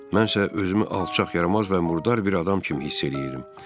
Mən isə özümü alçaq, yaramaz və murdar bir adam kimi hiss eləyirdim.